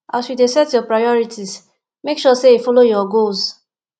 as you dey set your prorities make sure sey e follow your goals